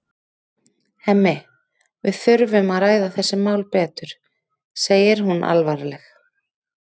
Hemmi, við þurfum að ræða þessi mál betur, segir hún alvarleg.